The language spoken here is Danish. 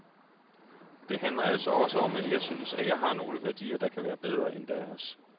Det handler altså også om, at jeg synes, at jeg har nogle værdier, der kan være bedre end deres.